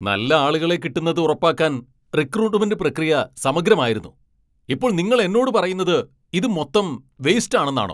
നല്ല ആളുകളെ കിട്ടുന്നത് ഉറപ്പാക്കാൻ റിക്രൂട്ട്മെന്റ് പ്രക്രിയ സമഗ്രമായിരുന്നു, ഇപ്പോൾ നിങ്ങൾ എന്നോട് പറയുന്നത് ഇത് മൊത്തം വെയ്സ്റ്റ് ആണെന്നാണോ?